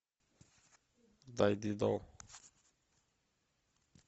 дай дидо